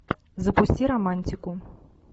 запусти романтику